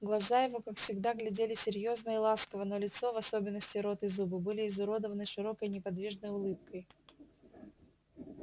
глаза его как всегда глядели серьёзно и ласково но лицо в особенности рот и зубы были изуродованы широкой неподвижной улыбкой